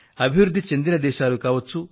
అభివృద్ధి చెందిన దేశాలు కావచ్చు